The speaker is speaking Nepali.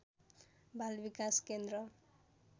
बाल विकास केन्द्र